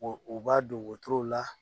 u b'a don wotorow la.